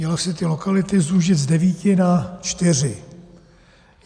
Měly se ty lokality zúžit z devíti na čtyři.